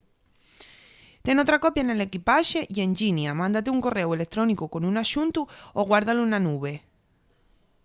ten otra copia nel equipaxe y en llinia mándate un corréu electrónicu con un axuntu o guárdalu na nube”